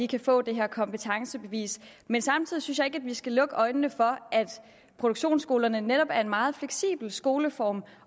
kan få det her kompetencebevis men samtidig synes jeg ikke at vi skal lukke øjnene for at produktionsskolerne netop er en meget fleksibel skoleform